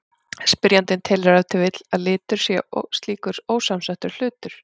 Spyrjandinn telur ef til vill að litur sé slíkur ósamsettur hlutur.